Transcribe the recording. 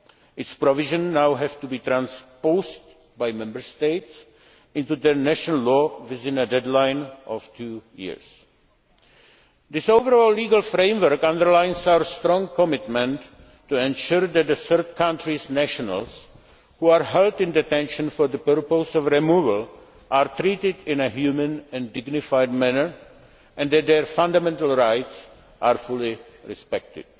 Its provisions now have to be transposed by Member States into their national law within a deadline of two years. This overall legal framework underlines our strong commitment to ensuring that third country nationals who are held in detention for the purpose of removal are treated in a humane and dignified manner, and that their fundamental rights are fully respected.